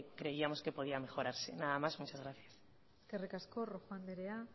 creíamos que podría mejorarse nada más muchas gracias eskerrik asko rojo andrea